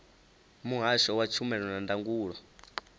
muhasho wa tshumelo na ndangulo